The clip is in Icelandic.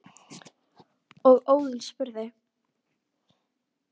og Óðinn spurði